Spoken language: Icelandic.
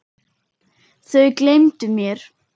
Þau gleymdu mér.